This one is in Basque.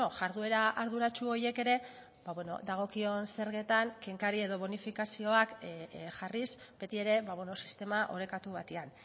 jarduera arduratsu horiek ere bueno dagokion zergetan kenkari edo bonifikazioak jarriz beti ere sistema orekatu batean